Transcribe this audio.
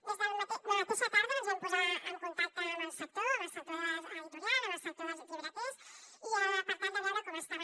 des de la mateixa tarda ens vam posar en contacte amb el sector amb el sector editorial amb el sector dels llibreters per tal de veure com estaven